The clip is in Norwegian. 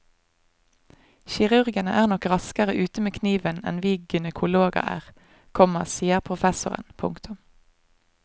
Kirurgene er nok raskere ute med kniven enn vi gynekologer er, komma sier professoren. punktum